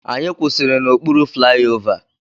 Anyị kwụsịrị n'okpuru flaiova.